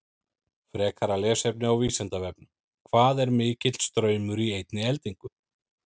Frekara lesefni á Vísindavefnum: Hvað er mikill straumur í einni eldingu?